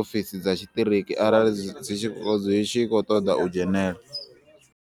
ofisi dza tshiṱiriki arali zwi tshi khou ṱoḓa u dzhenela.